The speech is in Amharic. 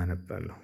አነባለሁ